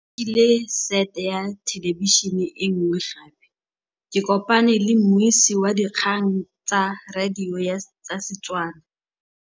Rre o rekile sete ya thêlêbišênê e nngwe gape. Ke kopane mmuisi w dikgang tsa radio tsa Setswana.